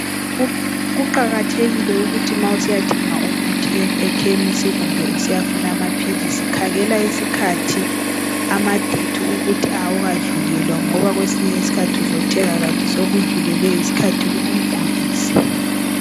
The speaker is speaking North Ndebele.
Kuqakathekile ukuthi ma usiya thenga amaphilisi loba usiya funa umuthi ekhemisi khangela isikhathi amadate ukuthi awukadlulelwa ngoba kwesinye isikhathi ungathenga kanti sekudlulelwe yisikhathi kukugulise.